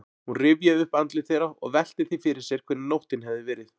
Hún rifjaði upp andlit þeirra og velti því fyrir sér hvernig nóttin hefði verið.